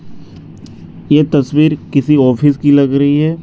ये तस्वीर किसी ऑफिस की लग रही है।